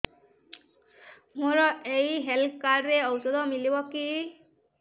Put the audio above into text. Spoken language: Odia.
ମୋର ଏଇ ହେଲ୍ଥ କାର୍ଡ ରେ ଔଷଧ ମିଳିବ କି